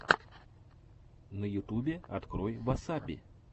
на ютубе открой васаби